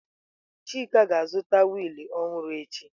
Chika ga-azụta wiil ọhụrụ echi.